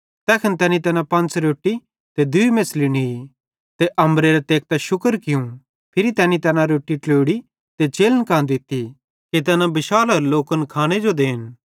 तैखन तैनी तैना पंच़ रोट्टी ते दूई मेछ़ली नी ते अम्बरेरां तेकतां शुक्र कियूं फिरी तैनी तैना रोट्टी ट्लोड़ी ते चेलन कां दित्ती कि तैन बिशालोरे लोकन खांने जो देन